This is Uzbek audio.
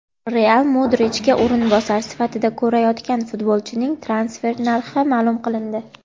"Real" Modrichga o‘rinbosar sifatida ko‘rayotgan futbolchining transfer narxi maʼlum qilindi.